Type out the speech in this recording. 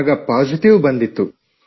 ಆಗ ಪಾಸಿಟಿವ್ ಬಂದಿತ್ತು